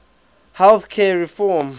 health care reform